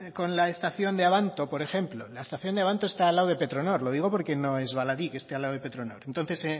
con la estación de abanto por ejemplo la estación de abanto está al lado de petronor lo digo porque no es baladí que esté al lado de petronor entonces